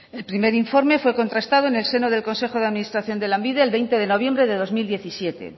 el primer informe fue contrastado en el seno del consejo de administración de lanbide de veinte de noviembre de dos mil diecisiete